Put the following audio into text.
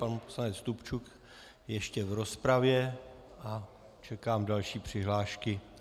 Pan poslanec Stupčuk ještě v rozpravě, a čekám další přihlášky.